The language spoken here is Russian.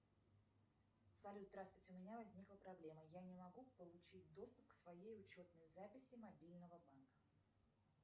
салют здравствуйте у меня возникла проблема я не могу получить доступ к своей учетной записи мобильного банка